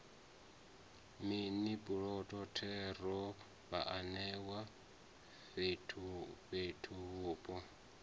mini puloto thero vhaanewa fhethuvhupo